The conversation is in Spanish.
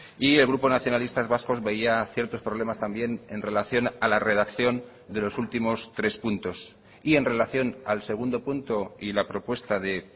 y el grupo nacionalistas vascos veía ciertos problemas también en relación a la redacción de los últimos tres puntos y en relación al segundo punto y la propuesta de